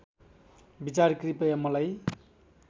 विचार कृपया मलाई